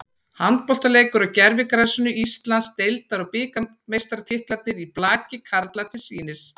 Handboltaleikur á gervigrasinu, Íslands- deildar og bikarmeistaratitlarnir í blaki karla til sýnis.